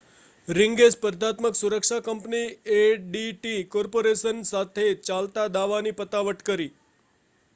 રિંગે સ્પર્ધાત્મક સુરક્ષા company ADT corporation સાથે ચાલતા દાવાની પતાવટ કરી